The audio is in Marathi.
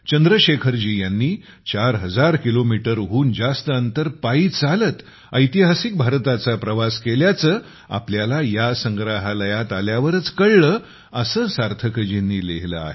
चंद्रशेखरजी यांनी 4 हजार किलोमीटरहून जास्त अंतर पायी चालत भारताचा ऐतिहासिक प्रवास केल्याचे आपल्याला या संग्रहालयात आल्यावरच कळले असे सार्थकजींनी लिहिले आहे